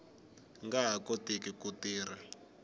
nga ha koti ku tirha